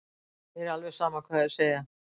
Mér er alveg sama hvað þeir segja.